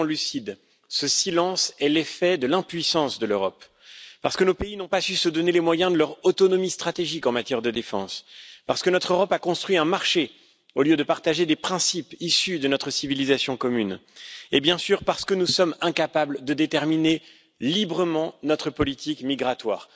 Soyons lucides, ce silence est l'effet de l'impuissance de l'Europe parce que nos pays n'ont pas su se donner les moyens de leur autonomie stratégique en matière de défense, parce que notre Europe a construit un marché, au lieu de partager des principes issus de notre civilisation commune et, bien sûr, parce que nous sommes incapables de déterminer librement notre politique migratoire.